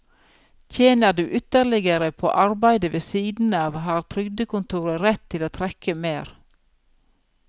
Tjener du ytterligere på arbeide ved siden av, har trygdekontoret rett til å trekke mer.